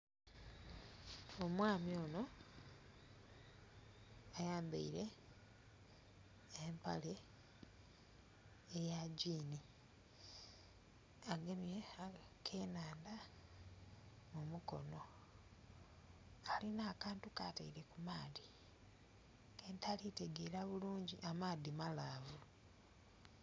Omwami ono ayambaile empale eya gyini, agemye akenhanda mu mukono alina akantu kataile ku maadhi kentali kutegeera bulungi amaadhi malaavu.